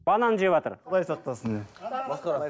банан жеватыр құдай сақтасын иә